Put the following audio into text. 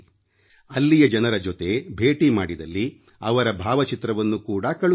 ಅಲ್ಲಿಯ ಜನರ ಜೊತೆ ಭೇಟಿ ಮಾಡಿದಲ್ಲಿ ಅವರ ಭಾವಚಿತ್ರವನ್ನು ಕೂಡ ಕಳುಹಿಸಿ